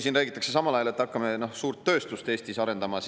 Siin räägitakse samal ajal, et hakkame suurt tööstust Eestis arendama.